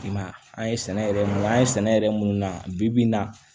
I m'a ye an ye sɛnɛ yɛrɛ mun an ye sɛnɛ yɛrɛ mun na bi bi in na